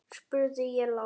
spurði ég lágt.